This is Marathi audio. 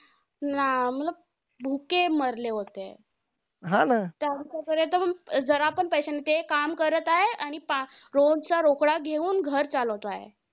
ना भुके मरले होते. त्या मुळे जरा पण पैशानी काम करत आहेत, आणि रोज चा रोकडा घेऊन घर चालवत आहे.